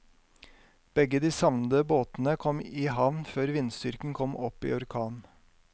Begge de savnede båtene kom i havn før vindstyrken kom opp i orkan.